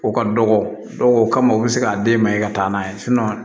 O ka dɔgɔ o kama u bɛ se k'a den ma i ka taa n'a ye